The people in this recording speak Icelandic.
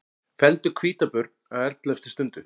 Felldu hvítabjörn á elleftu stundu